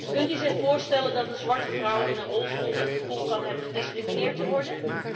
Kunt u zich voorstellen dat een zwarte vrouw in een rolstoel het gevoel kan hebben gediscrimineerd te worden?